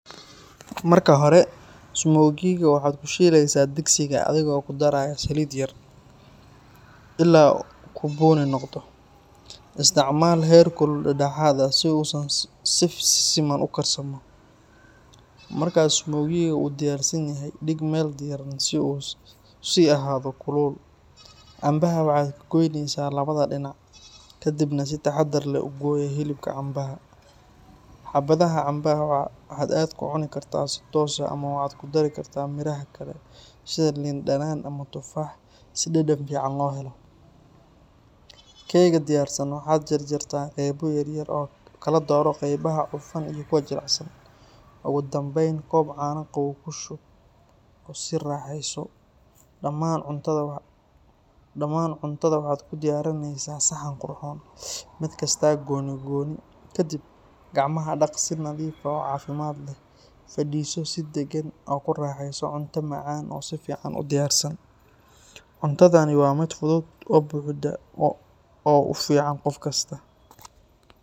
Marka hore, smoki-ga waxaad ku shiilaysaa digsiga adigoo ku daraya saliid yar, ilaa uu ka bunni noqdo. Isticmaal heerkul dhexdhexaad ah si uu si siman u karsamo. Marka smoki-ga uu diyaarsan yahay, dhig meel diiran si uu u sii ahaado kulul. Cambaha waxaad ka gooynaysaa labada dhinac, kadibna si taxadar leh u gooyaa hilibka cambaha. Xabadaha cambaha waxa aad ku cuni kartaa si toos ah ama waxaad ku dari kartaa miraha kale sida liin dhanaan ama tufaax si dhadhan fiican loo helo. Keega diyaarsan waxaad jarjartaa qaybo yar yar, oo kala dooro qaybaha cufan iyo kuwa jilicsan. Ugu dambeyn, koob caano qabow ku shub oo sii raaxayso. Dhamaan cuntada waxaad ku diyaarinaysaa saxan qurxoon, mid kasta gooni gooni. Kadib, gacmaha dhaq si nadiif ah oo caafimaad leh, fadhiiso si deggan, oo ku raaxayso cunto macaan oo si fiican u diyaarsan. Cuntadani waa mid fudud oo buuxda oo u fiican qof kasta.